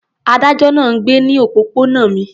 Adájọ́ náà ń gbé ní òpópónà mi.